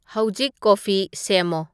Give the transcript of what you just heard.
ꯍꯧꯖꯤꯛ ꯀꯣꯐꯤ ꯁꯦꯝꯃꯣ